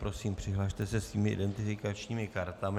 Prosím, přihlaste se svými identifikačními kartami.